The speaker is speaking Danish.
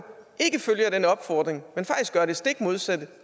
ikke følger den opfordring men faktisk gør det stik modsatte